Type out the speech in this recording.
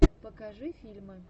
покажи фильмы